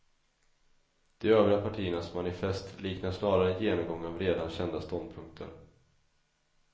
De övriga partiernas manifest liknar snarare en genomgång av redan kända ståndpunkter.